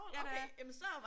Ja det er jeg